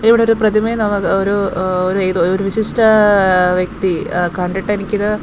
ദേ ഇവിടെ ഒരു പ്രതിമയെ നമ്മുക്ക് ഒരു ഒരു ഏതോ ഒരു വിശിഷ്ഠ ആ വ്യക്തി ആ കണ്ടിട്ടെനിക്കിത്--